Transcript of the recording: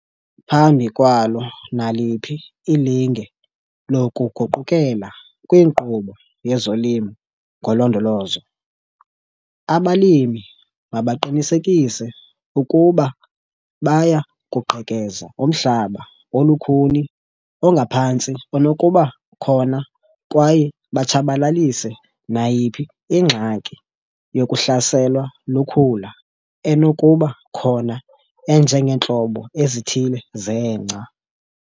Phambi kwalo naliphi ilinge lokuguqukela kwinkqubo yezoLimo ngoLondolozo, abalimi mabaqinisekise ukuba baya kuqhekeza umhlaba olukhuni ongaphantsi onokuba khona kwaye batshabalalise nayiphi ingxaki yokuhlaselwa lukhula enokuba khona enjengeentlobo ezithile zengca.